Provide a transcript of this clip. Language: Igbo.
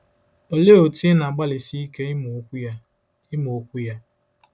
Olee otú ị na-agbalịsi ike ịmụ Okwu ya? ịmụ Okwu ya?